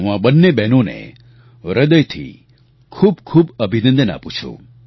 હું આ બંને બહેનોને હૃદયથી ખૂબ ખૂબ અભિનંદન આપું છું